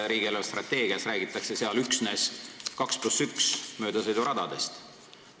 Riigi eelarvestrateegias räägitakse üksnes 2 + 1 rajaga maanteest.